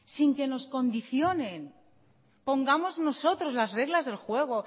sin que nos condicionen pongamos nosotros las reglas del juego